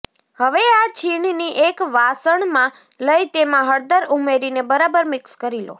હવે આ છીણને એક વાસણમાં લઇ તેમાં હળદર ઉમેરીને બરાબર મિક્સ કરી લો